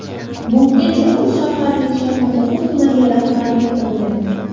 Bungacha u shaharning Shayxontohur tumaniga rahbarlik qilgan.